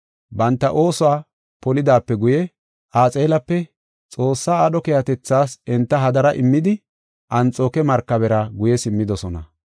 Banta oosuwa polidaape guye, Axaalep Xoossa aadho keehatethas enta hadara immida Anxooke markabera guye simmidosona.